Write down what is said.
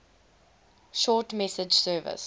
short message service